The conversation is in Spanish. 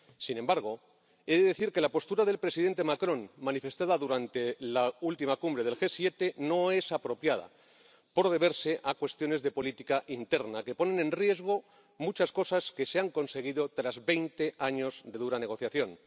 Sin embargo, he de decir que la postura del presidente Macron, manifestada durante la última cumbre del G-7, no es apropiada, por deberse a cuestiones de política interna que ponen en riesgo muchas cosas que se han conseguido tras veinte años de dura negociación.